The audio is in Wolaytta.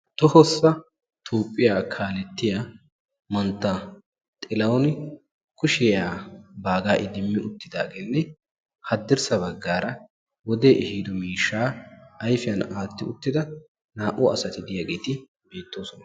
tohossa tuupphiyaa kaalettiya mantta xilawuni kushiyaa baagaa idimmi uttidaageenne haddirssa baggaara wodee ehiido miishshaa aifiyan aatti uttida naa''u asati diyaageeti biittoosona